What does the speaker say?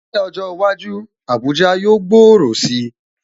Ní ọjọ́ iwájú, Abuja yóò gbòòrò si